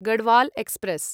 Garhwal express